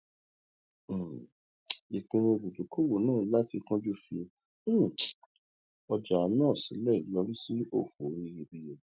um ìpinnu olùdókòwò náà láti kánjú fi um ọjà náà sílẹ yọrí sí òfò oníyebíye